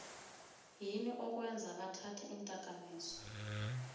yini okwenza bathathe indakamizwa